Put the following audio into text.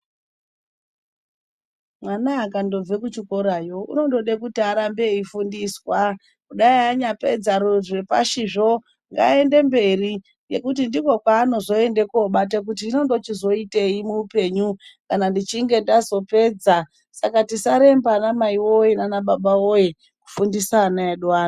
Mwana akandobve kuchikorayo unondode kuti arambe eifundiswa kudai anyapedza zvepashizvo ngaende mberi nekuti ndikwo kwaanozoenda kobata kuti hino ndochizoitei muupenyu kana ndichinge ndazopedza saka tisaremba ana mai woyee naana baba woyee kufundisa ana edu ano.